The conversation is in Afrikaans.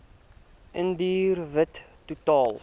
indiër wit totaal